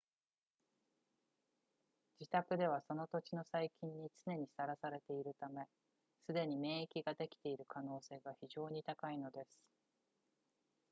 自宅ではその土地の細菌に常にさらされているためすでに免疫ができている可能性が非常に高いのです